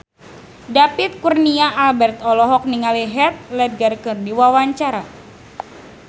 David Kurnia Albert olohok ningali Heath Ledger keur diwawancara